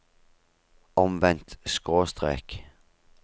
omvendt skråstrek